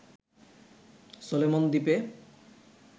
Solomon দ্বীপে